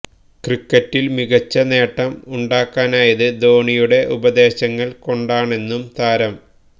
ക്രിക്കറ്റിൽ മികച്ച നേട്ടം ഉണ്ടാക്കാനായത് ധോണിയുടെ ഉപദേശങ്ങൾ കൊണ്ടാണെന്നും താരം